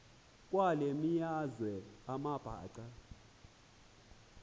kwale meazwe amabhaca